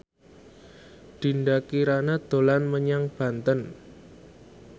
Dinda Kirana dolan menyang Banten